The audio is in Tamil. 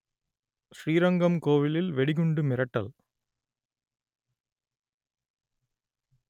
ஸ்ரீரங்கம் கோவிலில் வெடிகுண்டு மிரட்டல்